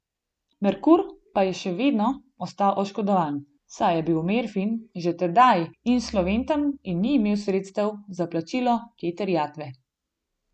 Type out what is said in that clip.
Merkur pa je še vedno ostal oškodovan, saj je bil Merfin že tedaj insolventen in ni imel sredstev za plačilo te terjatve.